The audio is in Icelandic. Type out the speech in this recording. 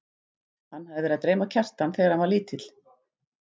Hann hafði verið að dreyma Kjartan þegar hann var lítill.